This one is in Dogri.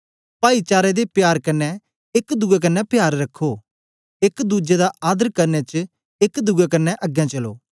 पाईचारे दे प्यार कन्ने एक दुए कन्ने प्यार रखो एक दुज्जे दा आदर करने च एक दुए कन्ने अगें चलो